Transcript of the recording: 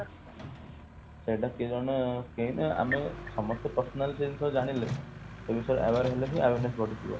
ସେଟା ଆମେ ସମସ୍ତେ personal ସେ ବିଷୟରେ ଜାଣିଲେ ସେ ବିଷୟରେ aware ହେଲେ ହିଁ awareness ବଢିଯିବ